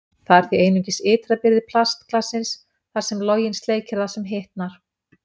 Það er því einungis ytra byrði plastglassins, þar sem loginn sleikir það, sem hitnar.